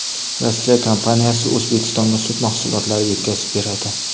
Rossiya kompaniyasi O‘zbekistonga sut mahsulotlari yetkazib beradi.